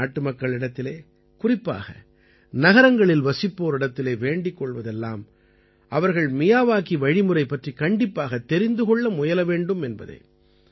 நான் நாட்டுமக்களிடத்திலே குறிப்பாக நகரங்களில் வசிப்போரிடத்திலே வேண்டிக் கொள்வதெல்லாம் அவர்கள் மியாவாகி வழிமுறை பற்றிக் கண்டிப்பாகத் தெரிந்து கொள்ள முயல வேண்டும் என்பதே